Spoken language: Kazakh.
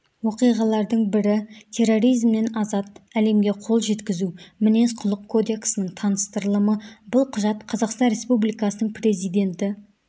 оқиғалардың бірі терроризмнен азат әлемге қол жеткізу мінез-құлық кодексінің таныстырылымы бұл құжат қазақстан республикасының президенті